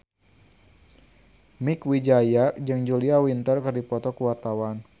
Mieke Wijaya jeung Julia Winter keur dipoto ku wartawan